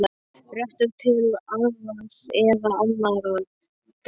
réttur til arðs eða annarrar greiðslu.